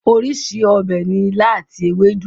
Orísìí ọbẹ̀ ni ilá àti ewédú.